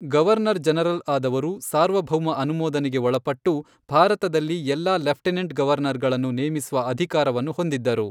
Governor general ಆದವರು, ಸಾರ್ವಭೌಮ ಅನುಮೋದನೆಗೆ ಒಳಪಟ್ಟು ಭಾರತದಲ್ಲಿ ಎಲ್ಲಾ ಲೆಫ್ಟೆನೆಂಟ್ ಗವರ್ನರ್ಗಳನ್ನು ನೇಮಿಸುವ ಅಧಿಕಾರವನ್ನು ಹೊಂದಿದ್ದರು.